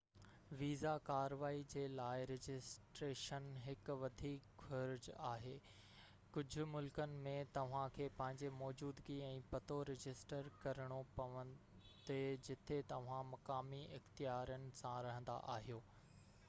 visa ڪاروائي جي لاءِ رجسٽريشن هڪ وڌيڪ گهرج آهي ڪجهہ ملڪن ۾ توهان کي پنهنجي موجودگي ۽ پتو رجسٽر ڪرڻو پوندي جتي توهان مقامي اختيارن سان رهندا آهيو